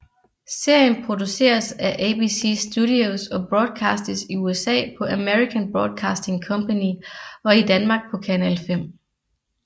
Serien produceres af ABC Studios og broadcastes i USA på American Broadcasting Company og i Danmark på Kanal 5